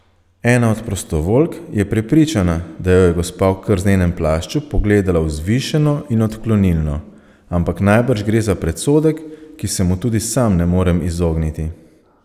Ena od prostovoljk je prepričana, da jo je gospa v krznenem plašču pogledala vzvišeno in odklonilno, ampak najbrž gre za predsodek, ki se mu tudi sam ne morem izogniti.